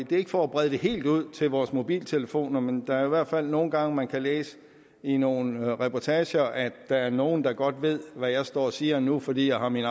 det er ikke for at brede det helt ud til vores mobiltelefoner men der er i hvert fald nogle gange man kan læse i nogle reportager at der er nogle der godt ved hvad jeg står og siger nu fordi jeg har min